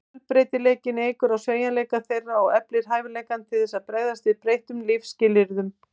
Fjölbreytileikinn eykur á sveigjanleika þeirra og eflir hæfileikann til þess að bregðast við breyttum lífsskilyrðum.